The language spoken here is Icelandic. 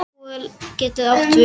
Ragúel getur átt við